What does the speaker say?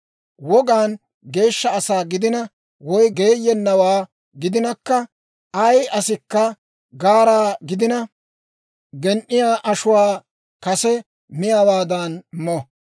Wogaan geeshsha asaa gidina, woy geeyennawaa gidinakka, ay asikka gaaraa gidina, gen"iyaa ashuwaa kase miyaawaadan mo.